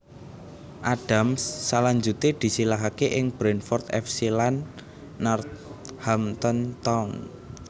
Adams salanjuté disilihake ing Brentford F C lan Northampton Town